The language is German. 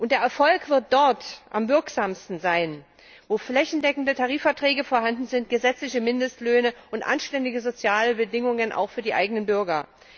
Der Erfolg wird dort am wirksamsten sein, wo flächendeckende Tarifverträge vorhanden sind, gesetzliche Mindestlöhne und anständige soziale Bedingungen auch für die eigenen Bürger.